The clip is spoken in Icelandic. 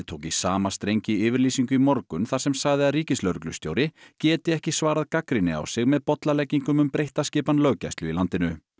tók í sama streng í yfirlýsingu í morgun þar sem sagði að ríkislögreglustjóri geti ekki svarað gagnrýni á sig með bollaleggingum um breytta skipan löggæslu í landinu